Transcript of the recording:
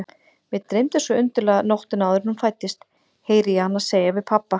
Mig dreymdi svo undarlega nóttina áður en hún fæddist, heyri ég hana segja við pabba.